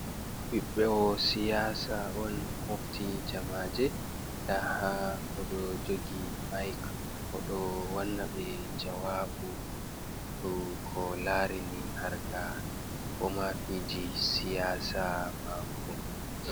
Ɓiɓɓewo siyasa on mofti jamaaje, nda ha oɗo jogi maik oɗo wanna ɓe jawaabu dou ko larini harka ko ma fiji siyasa mako.